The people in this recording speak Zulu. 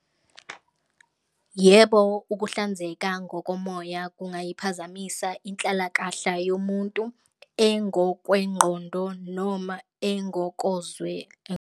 Yebo, ukuhlanzeka ngokomoya kuyayiphazamisa inhlalakahla yomuntu engokwengqondo noma .